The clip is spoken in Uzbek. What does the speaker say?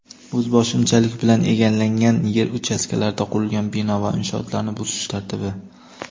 O‘zboshimchalik bilan egallangan yer uchastkalarida qurilgan bino va inshootlarni buzish tartibi.